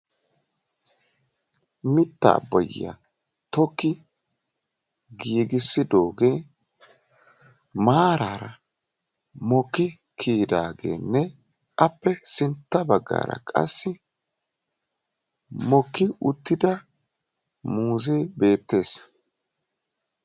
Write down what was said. Mittaa boyyiyaa tokki giigissidogee maarara mokki kiyidaageenne ape sintta baggaara qassi mokki uttida muuzee beettees.